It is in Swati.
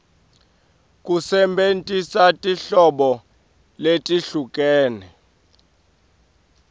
kusebentisa tinhlobo letehlukene